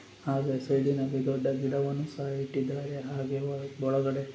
ಹಾಗೆ ಸೈಡಿನಲ್ಲಿ ದೊಡ್ಡ ಗಿಡವನ್ನು ಸಹ ಇಟ್ಟಿದಾರೆ ಹಾಗೆ ಒಳ-ಒಳಗಡೆ--